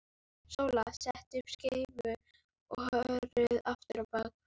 Sóla setti upp skeifu og hörfaði aftur á bak.